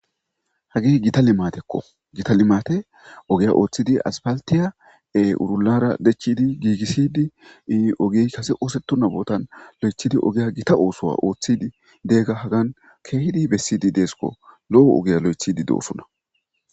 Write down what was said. Hage githa limathekko; githa limathe ogeya ooththidi aspalththiya ee urullaara dechchidi giigissidi ii ogey kase oosetona boothan loythidi ogiya githa oosuwa ooththidi deega hagan keehidi bessidi deeskko; lo7o ogiya loyththiiddi doosona.